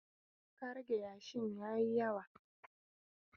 Ka rage yashin ya yi yawa!